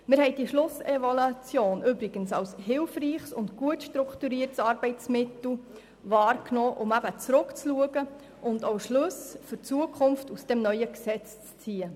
Diese Schlussevaluation haben wir als hilfreiches und gut strukturiertes Arbeitsmittel wahrgenommen, um zurückzuschauen und auch Schlüsse für die Zukunft dieses neuen Gesetzes zu ziehen.